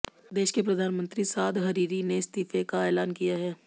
देश के प्रधानमंत्री साद हरीरी ने इस्तीफे का ऐलान किया है